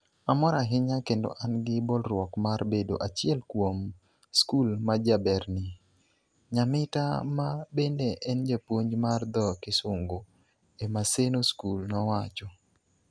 Amor ahinya kendo an gi bolruok mar bedo achiel kuom skul majaberni, "Nyamita ma bende en japuonj mar dho Kisungu e Maseno School nowacho.